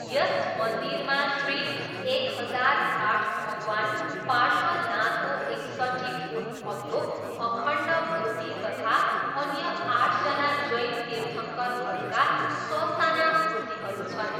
यस मन्दिरमा श्री एक हजार आठ भगवान पार्श्वनाथको एकसट्ठी फुट अग्लो अखण्ड मूर्ति तथा अन्य आठजना जैन तीर्थङ्करहरूका ससाना मूर्तिहरू छन्।